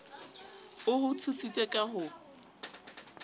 o ho tshositse ka ho